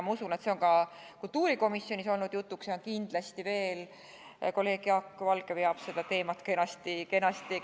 Ma usun, et see on ka kultuurikomisjonis olnud jutuks, ja kindlasti kolleeg Jaak Valge veel veab seda teemat kenasti eest.